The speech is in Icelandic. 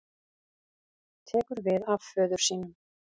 Tekur við af föður sínum